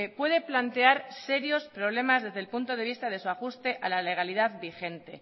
puede plantear serios problemas desde el punto de vista de su ajuste a la legalidad vigente